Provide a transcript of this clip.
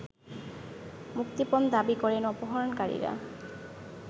মুক্তিপণ দাবি করেন অপহরণকারীরা